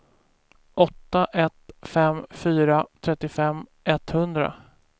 åtta ett fem fyra trettiofem etthundra